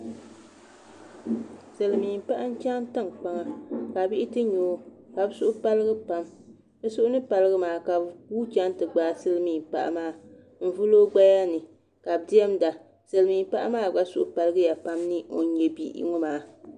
Silmiin paɣa n chɛŋ tinkpaŋa ka bihi ti nyɛ o ka bi suhi paligi pam bi suhu ni paligi maa ka bi guui chɛŋ ti gbaai silmiin paɣa maa n vuli o gbaya ni ka bi diɛmda silmiin paɣa maa gba suhu paligiya pam ni o ni nyɛ bihi ŋɔ maa